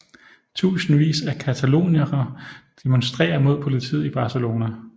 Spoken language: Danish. Tusindvis af cataloniere demonstrerer mod politiet i Barcelona